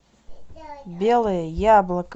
белое яблоко